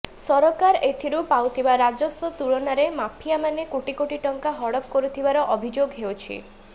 ସରକାର ଏଥିରୁ ପାଉଥିବା ରାଜସ୍ବ ତୁଳନାରେ ମାଫିଆ ମାନେ କୋଟି କୋଟି ଟଙ୍କା ହଡପ କରୁଥିବାର ଅଭିଯୋଗ ହେଉଛି